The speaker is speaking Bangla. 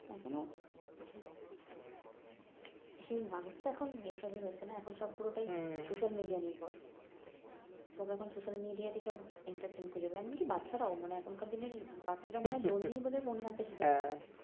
এখন আর সেই মানুষতো এখন এসবই হচ্ছে না এখন সব পুরোটাই নির্ভর সব এখন তেই সব খুজে বেড়ায় এমন কি বাচ্চারাও মানে এখনকার দিনের বাচ্চারাও মনে হয় জন্মেই বোধ হয় ফোন ঘাটতে শুরু করে দেয়